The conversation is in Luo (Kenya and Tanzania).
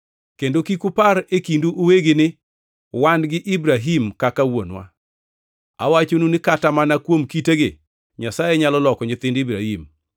Kendo kik upar e kindu uwegi ni, ‘Wan gi Ibrahim kaka wuonwa.’ Awachonu ni kata mana kuom kitegi Nyasaye nyalo loko nyithind Ibrahim.